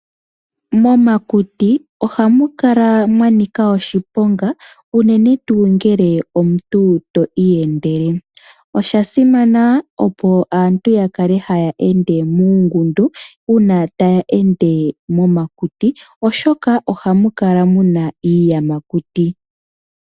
Momakuti ohamukala mwanika oshiponga uunene tuu ngele omuntu twiiyendele. Osha simana opo aantu yakale haya ende muungundu uuna taya ende momakuti oshoka ohamukala muna iiyamakuti.